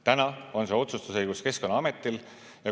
Täna on see otsustusõigus Keskkonnaametil.